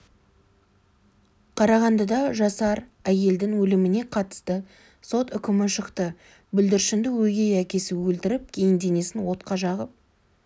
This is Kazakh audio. қарағандыда жасар қыздың өліміне қатысты сот үкімі шықты бүлдіршінді өгей әкесі өлтіріп кейін денесін отқа жағып